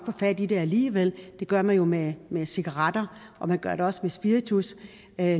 fat i det alligevel det gør man jo med med cigaretter og man gør det også med spiritus